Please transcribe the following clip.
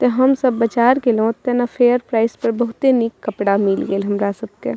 ते हम सब बाजार गेलो ओतेना फेयर प्राइस पे बहुते निक कपड़ा मिल गेल हमरा सबके।